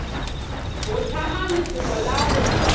o hlame lefoko la go